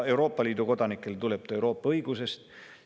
Euroopa Liidu kodanikele tekib see Euroopa õiguse tõttu.